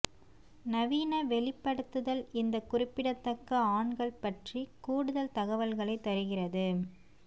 நவீன வெளிப்படுத்துதல் இந்த குறிப்பிடத்தக்க ஆண்கள் பற்றி கூடுதல் தகவல்களை தருகிறது